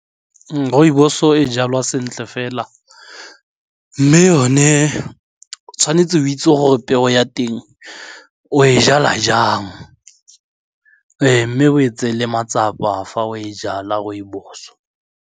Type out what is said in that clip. Rooibos-o e jalwa sentle fela mme yone o tshwanetse o itse gore peo ya teng o e jala jang mme o e tseele matsapa fa o e jala rooibos.